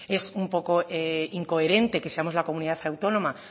es un poco incoherente que seamos la comunidad autónoma